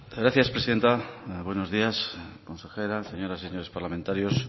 gracias presidenta buenos días consejeras señoras y señores parlamentarios